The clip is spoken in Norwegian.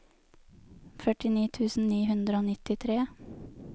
førtini tusen ni hundre og nittitre